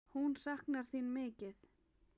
Hún saknar þín mikið.